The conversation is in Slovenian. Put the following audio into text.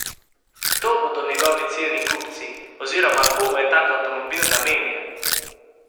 Kdo bodo njegovi ciljni kupci oziroma komu je tak avtomobil namenjen?